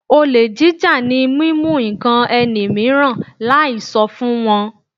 Olè jíjà ni mímú ǹkan ẹni mìíràn láì sọ fún wọn.